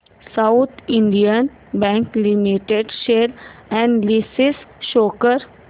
south Indian bank limited share analysis show कर